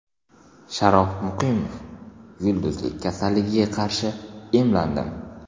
Sharof Muqimov: Yulduzlik kasalligiga qarshi emlandim.